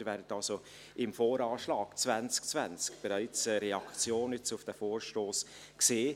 Sie werden also im Voranschlag 2020 bereits eine Reaktion auf diesen Vorstoss sehen.